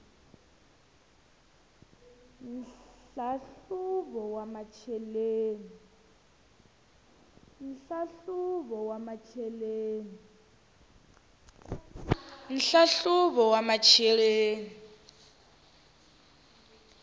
nhlahluvo wa macheleni